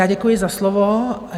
Já děkuji za slovo.